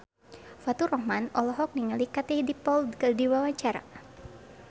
Faturrahman olohok ningali Katie Dippold keur diwawancara